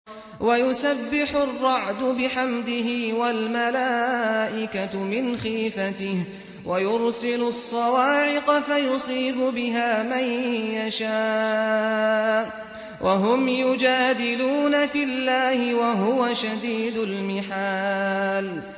وَيُسَبِّحُ الرَّعْدُ بِحَمْدِهِ وَالْمَلَائِكَةُ مِنْ خِيفَتِهِ وَيُرْسِلُ الصَّوَاعِقَ فَيُصِيبُ بِهَا مَن يَشَاءُ وَهُمْ يُجَادِلُونَ فِي اللَّهِ وَهُوَ شَدِيدُ الْمِحَالِ